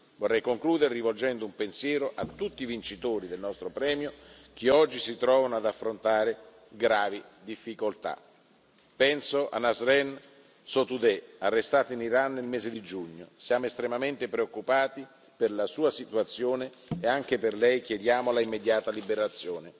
Vorrei concludere rivolgendo un pensiero a tutti i vincitori del nostro premio che oggi si trovano ad affrontare gravi difficoltà. Penso a Nasrin Sotoudeh, arrestata in Iran nel mese di giugno siamo estremamente preoccupati per la sua situazione e anche per lei chiediamo l'immediata liberazione.